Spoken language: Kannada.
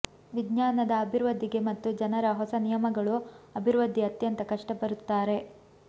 ವಿಜ್ಞಾನದ ಅಭಿವೃದ್ಧಿಗೆ ಮತ್ತು ಜನರ ಹೊಸ ನಿಯಮಗಳು ಅಭಿವೃದ್ಧಿ ಅತ್ಯಂತ ಕಷ್ಟ ಬರುತ್ತಾರೆ